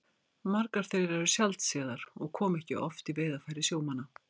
Margar þeirra eru sjaldséðar og koma ekki oft í veiðarfæri sjómanna.